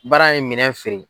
Bari an ye minɛn feere.